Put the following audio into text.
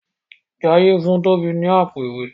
Jaiye fun Tobi ní Àpò-ìwé.